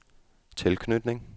tilknytning